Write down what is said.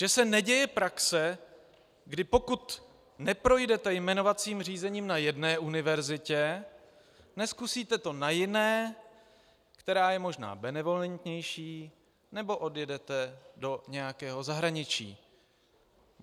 Že se neděje praxe, kdy pokud neprojdete jmenovacím řízením na jedné univerzitě, nezkusíte to na jiné, která je možná benevolentnější, nebo odjedete do nějakého zahraničí.